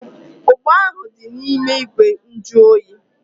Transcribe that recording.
Ugba ahu dị n'ime ìgwè nju oyi